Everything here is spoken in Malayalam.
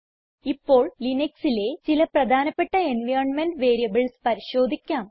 ഇപ്പോൾ ലിനക്സിലെ ചില പ്രധാനപ്പെട്ട എൻവൈറൻമെന്റ് വേരിയബിൾസ് പരിശോധിക്കാം